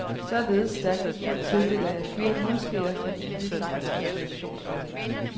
Således stærkt i tvivl tildeler jeg fire murskeer for bebyggelsens inspirationsværdi.